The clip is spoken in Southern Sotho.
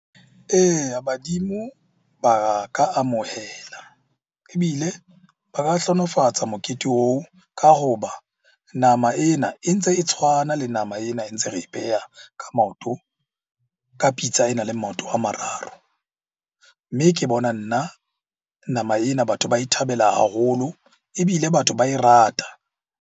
Eya, badimo ba ka amohela ebile ba ka hlohonolofatsa mokete oo ka hoba nama ena e ntse e tshwana le nama ena e ntse re e e pheha ka maoto. Ka pitsa e nang le maoto a mararo. Mme ke bona nna nama ena batho ba e thabela haholo, ebile batho ba e rata.